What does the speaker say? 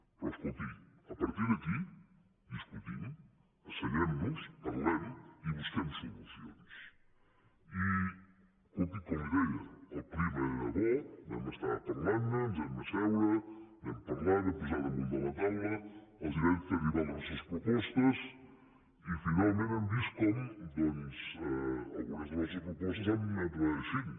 però escolti a partir d’aquí discutim asseguem nos parlem i busquem solucionsi escolti com li ho deia el clima era bo vam estar parlant ne ens vam asseure vam parlar vam posar damunt de la taula els vam fer arribar les nostres propostes i finalment hem vist com doncs algunes de les nostres propostes han anat reeixint